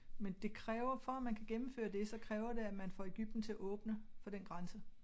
Men det kræver for at man kan gennemføre det så kræver det at man får Egypten til at åbne for den grænse